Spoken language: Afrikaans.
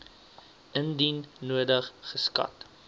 indien nodig geskat